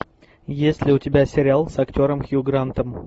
есть ли у тебя сериал с актером хью грантом